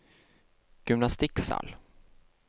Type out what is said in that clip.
gymnastikksal